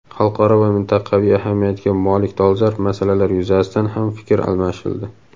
Xalqaro va mintaqaviy ahamiyatga molik dolzarb masalalar yuzasidan ham fikr almashildi.